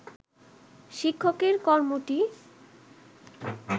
শিক্ষকের কর্মটি